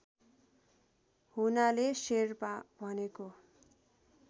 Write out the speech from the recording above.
हुनाले शेर्पा भनेको